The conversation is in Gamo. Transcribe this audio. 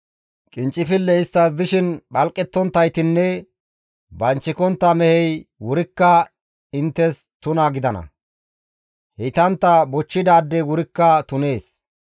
« ‹Qinccifilley isttas dishin phalqettonttaytinne banchikontta mehey wurikka inttes tuna gidana; heytantta bochchidaadey wurikka tunees.